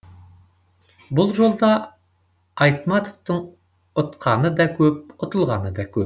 бұл жолда айтматовтың ұтқаны да көп ұтылғаны да көп